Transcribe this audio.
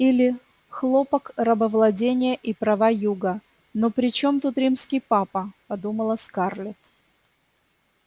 или хлопок рабовладение и права юга но при чём тут римский папа подумала скарлетт